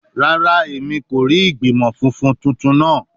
Rara, Emi ko rii igbimọ funfun tuntun naa